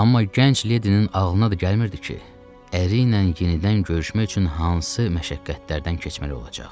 Amma gənc Ledinin ağlına da gəlmirdi ki, əri ilə yenidən görüşmək üçün hansı məşəqqətlərdən keçməli olacaq.